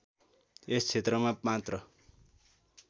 यस क्षेत्रमा मात्र